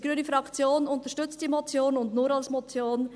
Die Fraktion Grüne unterstützt diese Motion, und als Motion.